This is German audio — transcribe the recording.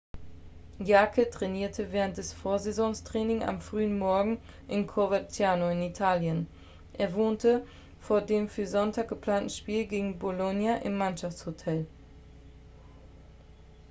jarque trainierte während des vorsaisontrainings am frühen morgen in coverciano in italien er wohnte vor dem für sonntag geplanten spiel gegen bolonia im mannschaftshotel